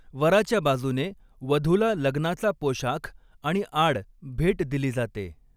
वराच्या बाजूने वधूला लग्नाचा पोशाख आणि 'आड' भेट दिली जाते.